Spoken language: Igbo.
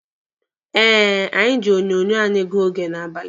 Eh, anyị ji onyonyo anyị gụọ oge n'abalị